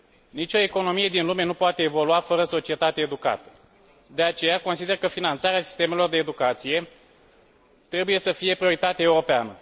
Nicio economie din lume nu poate evolua fără o societate educată, de aceea consider că finanțarea sistemelor de educație trebuie să fie o prioritate europeană.